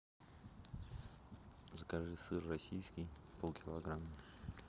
закажи сыр российский полкилограмма